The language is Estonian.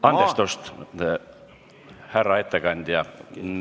Andestust, härra ettekandja!